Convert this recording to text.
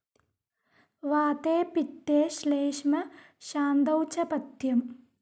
വാതേ പിത്തേ ശ്ളേഷ്മ ശാന്തൗചപഥ്യം